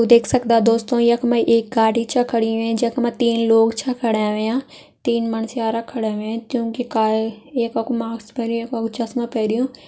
यु देख सक्दा दोस्तों यक में एक गाड़ी च खड़ी वेईं जक मा तीन लोग छ खड़ा वैंया तीन मणस्यारा खड़ा वैंए त्यूं कि काय ये ककु मास्क पहरियुं एक वाओ चस्मा पहरियुं।